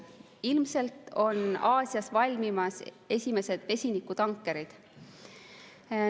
Ilmselt on Aasias valmimas esimesed vesinikutankerid.